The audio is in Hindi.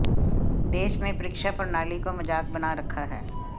देश में परीक्षा प्रणाली को मजाक बना रखा है